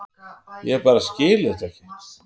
Ég bara skil þetta ekki.